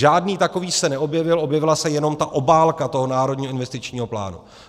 Žádný takový se neobjevil, objevila se jenom ta obálka toho Národního investičního plánu.